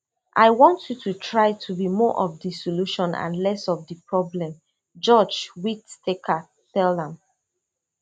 i want you to try to be more of di solution and less of di problem judge whitaker tell am